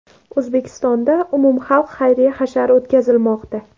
O‘zbekistonda umumxalq xayriya hashari o‘tkazilmoqda.